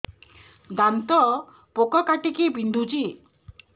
ଦାନ୍ତ ପୋକ କାଟିକି ବିନ୍ଧୁଛି